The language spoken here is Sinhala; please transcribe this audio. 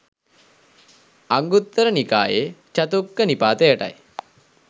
අංගුත්තර නිකායේ චතුක්ක නිපාතයටයි.